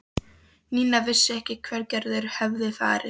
Nína vissi ekkert hvert Gerður hafði farið.